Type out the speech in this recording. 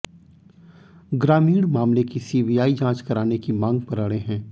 ग्रामीण मामले की सीबीआई जांच कराने की मांग पर अड़े हैं